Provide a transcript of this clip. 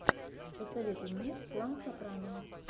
посоветуй мне клан сопрано